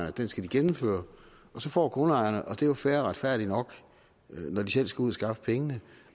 at den skal de gennemføre og så får grundejerne og det er jo fair og retfærdigt nok når de selv skal ud og skaffe pengene